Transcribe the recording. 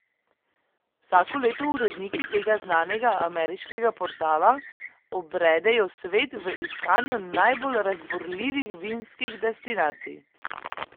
Vsako leto uredniki tega znanega ameriškega portala obredejo svet v iskanju najbolj razburljivih vinskih destinacij.